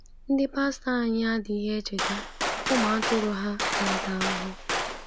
Ndị pastọ anyị adịghị echeta ụmụ atụrụ ha na-ata ahụhụ.